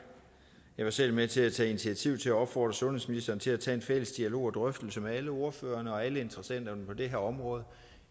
jeg var selv med til at tage initiativ til at opfordre sundhedsministeren til at tage en fælles dialog og drøftelse med alle ordførerne og alle interessenterne på det her område